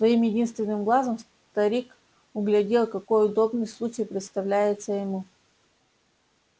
своим единственным глазом старик углядел какой удобный случай представляется ему